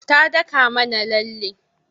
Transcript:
Ta daka mana lalle.